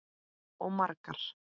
Og margar.